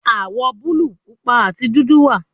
Awọ buluu, pupa ati dudu wa